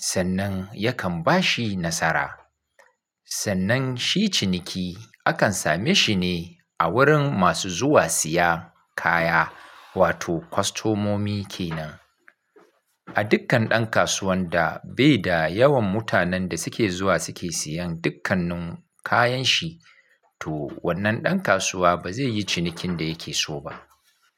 Sannan yakan bashi nasara. Sannan shi ciniki akan same shi ne a wurin masu zuwa siya kaya, wato kwastomomi kenan. A dukkan ɗan kasuwan da bai da yawan mutanen da suke zuwa suke siyan dukkannun kayan shi, to wannan ɗan kasuwa ba zai yi cinikin da yake so ba.